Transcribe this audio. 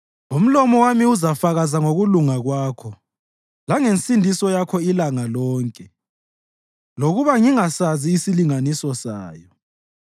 Umlomo wami uzafakaza ngokulunga kwakho, langensindiso yakho ilanga lonke, lokuba ngingasazi isilinganiso sayo.